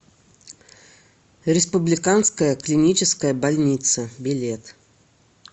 республиканская клиническая больница билет